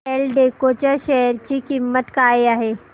एल्डेको च्या शेअर ची किंमत काय आहे